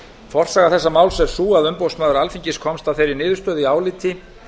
forsaga þessa máls er sú að umboðsmaður alþingis komst að þeirri niðurstöðu í áliti